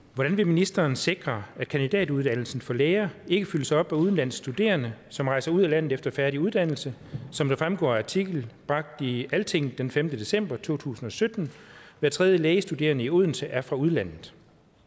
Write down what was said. hvordan vil ministeren sikre at kandidatuddannelsen for læger ikke fyldes op af udenlandske studerende som rejser ud af landet efter færdig uddannelse som det fremgår af artikel bragt i altinget den femte december 2017 hver tredje lægestuderende i odense er fra udlandet